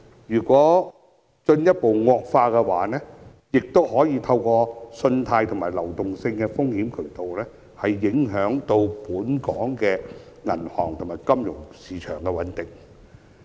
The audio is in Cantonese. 如果問題進一步惡化，亦可能透過信貸和流動性風險渠道，影響本港銀行業和金融市場的穩定。